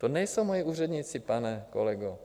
To nejsou moji úředníci, pane kolego.